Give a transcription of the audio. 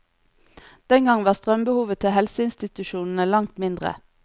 Den gang var strømbehovet til helseinstitusjonene langt mindre.